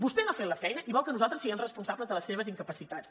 vostè no ha fet la feina i vol que nosaltres siguem responsables de les seves incapacitats